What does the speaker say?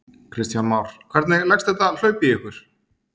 Kristján Már: Hvernig leggst þetta hlaup í ykkur?